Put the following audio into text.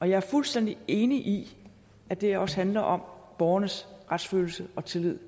jeg er fuldstændig enig i at det her også handler om borgernes retsfølelse og tillid